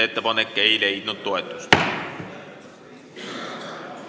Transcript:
Ettepanek ei leidnud toetust.